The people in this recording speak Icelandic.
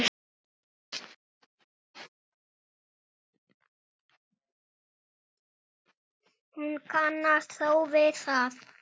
Hún kannast þó við það.